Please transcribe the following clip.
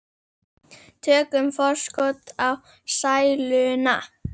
Tökum forskot á sæluna.